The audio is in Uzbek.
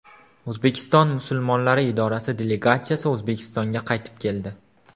O‘zbekiston musulmonlari idorasi delegatsiyasi O‘zbekistonga qaytib keldi.